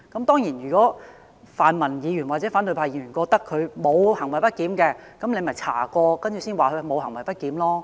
當然，如果泛民議員或反對派議員認為他沒有行為不檢，大可透過調查來證實他沒有行為不檢。